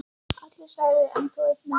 Allir særðir, en þó einn mest.